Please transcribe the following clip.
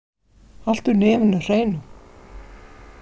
Haltu nefinu hreinu.